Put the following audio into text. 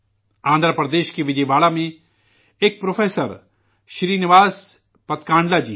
آندھرا پردیش کے وجےواڑا میں ایک پروفیسر شرینواس پدکانڈلا جی ہیں